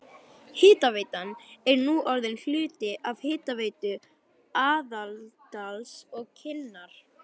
Hitaveitan er nú orðin hluti af Hitaveitu Aðaldals og Kinnar.